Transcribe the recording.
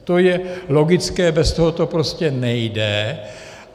To je logické, bez toho to prostě nejde.